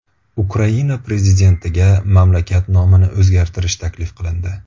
Ukraina prezidentiga mamlakat nomini o‘zgartirish taklif qilindi.